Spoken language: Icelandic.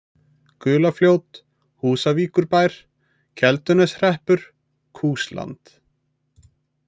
Gulafljót, Húsavíkurbær, Kelduneshreppur, Kúsland